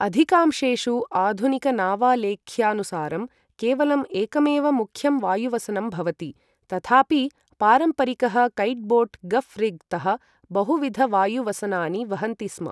अधिकांशेषु आधुनिकनावालेख्यानुसारं केवलम् एकमेव मुख्यं वायुवसनं भवति, तथापि पारम्परिकः कैटबोट् गफ् रिग् तः बहुविधवायुवसनानि वहन्ति स्म।